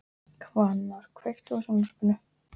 Hvannar, kveiktu á sjónvarpinu.